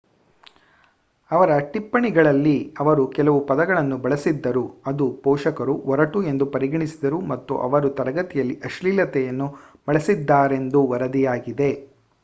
ಅವರ ಟಿಪ್ಪಣಿಗಳಲ್ಲಿ ಅವರು ಕೆಲವು ಪದಗಳನ್ನು ಬಳಸಿದ್ದರು ಅದು ಪೋಷಕರು ಒರಟು ಎಂದು ಪರಿಗಣಿಸಿದರು ಮತ್ತು ಅವರು ತರಗತಿಯಲ್ಲಿ ಅಶ್ಲೀಲತೆಯನ್ನು ಬಳಸಿದ್ದಾರೆಂದು ವರದಿಯಾಗಿದೆ